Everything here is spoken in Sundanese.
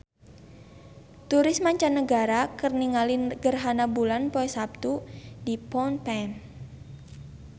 Turis mancanagara keur ningali gerhana bulan poe Saptu di Phnom Penh